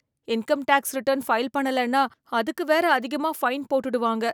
Income tax return file பண்ணலன்னா, அதுக்கு வேற அதிகமா ஃபைன் போட்டுடுவாங்க.